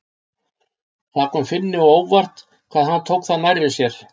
Það kom Finni á óvart hvað hann tók það nærri sér.